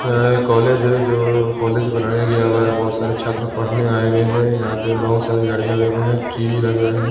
यह एक कॉलेज है जो कॉलेज बनाया गया हुआ है बहोत सारे छात्र पढ़ने आए हुए हैं यहां पे बहोत सारी गाड़ी लगे हुए हैं टी_वी लगे हुए हैं।